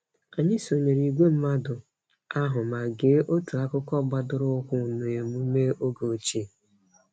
Anyị sonyere ìgwè mmadụ ahụ ma gee otu akụkọ gbadoroụkwụ n'emume oge ochie.